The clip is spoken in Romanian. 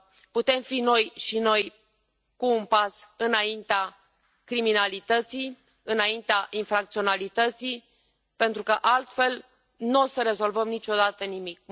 Putem fi și noi cu un pas înaintea criminalității, înaintea infracționalității, pentru că altfel nu o să rezolvăm niciodată nimic.